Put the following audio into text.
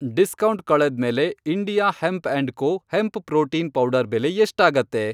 Discount ಕಳೆದ್ಮೇಲೆ India hemp and co. Hemp protein powder ಬೆಲೆ ಎಷ್ಟಾಗತ್ತೆ?